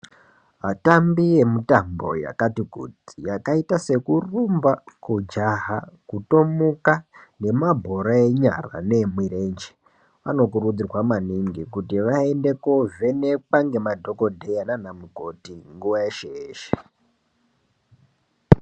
Atambi emitambo yakati kuti yakaita sekurumba kujaha kutomuka nemabhora enyu aya nemurenje vanokurudzirwa maningi kuti vaende kuvhenekwa ngemabhokodheya nanamukoti nguwa yeshe yeshe .